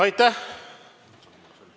Aitäh!